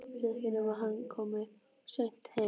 Ég veit ekki nema hann komi seint heim